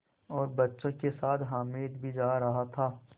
और बच्चों के साथ हामिद भी जा रहा था